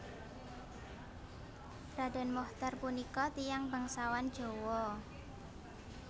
Raden Mochtar punika tiyang bangsawan Jawa